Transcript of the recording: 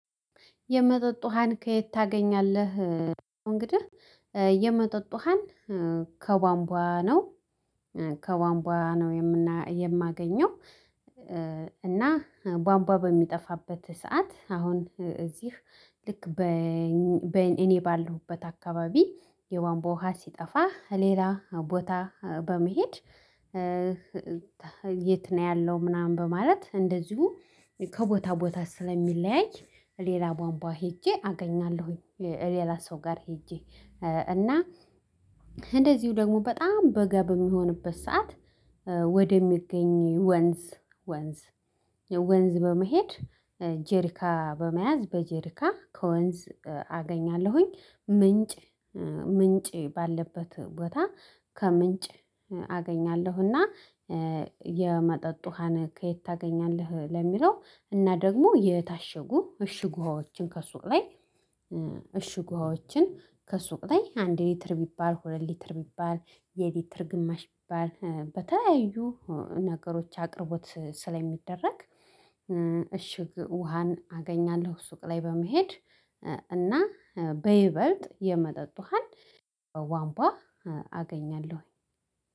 የመጠጥ ውሃን ከየት ታገኛለህ? እንግዲህ የመጠጥ ውሃን ከቧንቧ ነው ከቧንቧ ነው የማገኘው። እና ቧንቧ በሚጠፋበት ሰዓት አሁን እዚህ ልክ በ በ እኔ ባለሁበት አካባቢ የቧንቧ ውሃ ሲጠፋ ከሌላ ቦታ በመሄድ የት ነው ያለው ምናምን በማለት እንደዚሁ ከቦታ ቦታ ስለሚለያይ ሌላ ቧንቧ ሄጄ አገኛለሁኝ። ሌላ ሰው ጋር ሄጄ እና እንደዚሁ ደግሞ በጣም በጋ በሚሆንበት ሰዓት ወደሚገኝ ወንዝ ወንዝ ወንዝ በመሄድ ጀሪካ በመያዝ በጀሪካ ከወንዝ አገኛለሁኝ ምንጭ ምንጭ ባለበት ቦታ ከምንጭ አገኛለሁና። የመጠጥ ውሃን ከየት ታገኛለህ ለሚለው እና ደግሞ የታሸጉ እሽግ ውሃዎችን ከሱቅ ላይ። እሽ ውሃዎችን ከሱቅ ላይ አንድ ሊትር ቢባል ሁለት ሊትር ቢባል የሊትር ግማሽ ቢባል በተለያዩ ነገሮች አቅርቦት ስለሚደረግ እሽግ ውሃን አገኛለሁ ሱቅ ላይ በመሄድ እና በይበልጥ የመጠጥ ውሃን በቧንቧ አገኛለሁኝ።